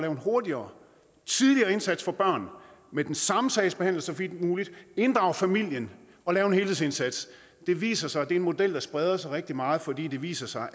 en hurtigere tidligere indsats for børn med den samme sagsbehandler så vidt muligt inddrage familien og lave en helhedsindsats det viser sig at det er en model der spreder sig rigtig meget fordi det viser sig